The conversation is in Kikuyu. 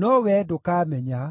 no wee ndũkamenya.”